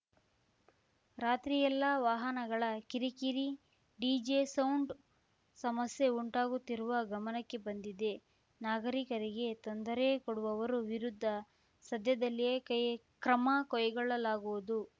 ರಾತ್ರಿಯೆಲ್ಲಾ ವಾಹನಗಳ ಕಿರಿಕಿರಿ ಡಿಜೆ ಸೌಂಡ್ ಸಮಸ್ಯೆ ಉಂಟಾಗುತ್ತಿರುವ ಗಮನಕ್ಕೆ ಬಂದಿದೆ ನಾಗರಿಕರಿಗೆ ತೊಂದರೆ ಕೊಡುವವರು ವಿರುದ್ಧ ಸದ್ಯದಲ್ಲಿಯೇ ಕೈ ಕ್ರಮ ಕೈಗೊಳ್ಳಲಾಗುವುದು